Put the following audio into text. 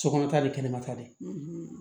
Sokɔnɔ ta bɛ kɛnɛma ta de